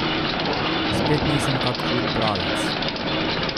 Spet nisem kak hud bralec.